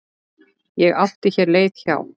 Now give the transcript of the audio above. Ég átti hér leið hjá.